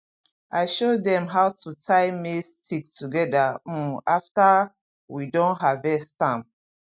i show dem how to tie maize stick together um after we don harvest am